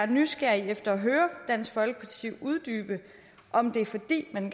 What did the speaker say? nysgerrig efter at høre dansk folkeparti uddybe om det er fordi man